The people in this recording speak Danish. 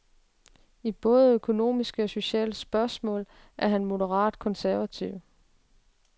I både økonomiske og sociale spørgsmål er han moderat konservativ.